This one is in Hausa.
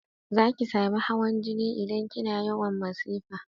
Zaki sami hawan jini idan kina yawan masifa